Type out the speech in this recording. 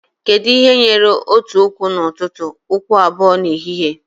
Kedu ihe nwere otu ụkwụ n'ụtụtụ, ụkwụ abụọ n'ehihie?